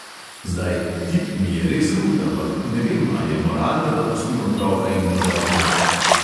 Zdaj, tip mi je res hud, ampak ne vem, a je moralno, da pustim otroka in moža doma?